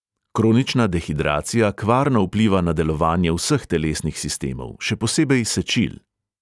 Kronična dehidracija kvarno vpliva na delovanje vseh telesnih sistemov, še posebej sečil.